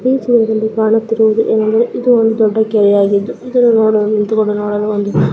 ಈ ಚಿತ್ರದಲ್ಲಿ ಕಾಣುತ್ತಿರುವುದು ಏನಂದರೆ ಇದು ಒಂದು ದೊಡ್ಡ ಕೆರೆಯಾಗಿದ್ದು ಇದನ್ನು ನೊಡಲು --